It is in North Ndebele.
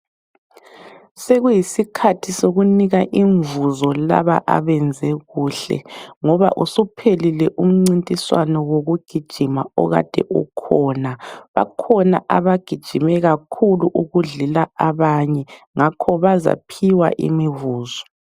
Sokuyiskhathi sokunika imfuzo laba abenze kuhle. Ngoba usuphelile umcintiswane wokugijima okade ukhona. Bakhona abagijima kakhulu ukudlula abanye ngakho bazaphiwa imifuzo.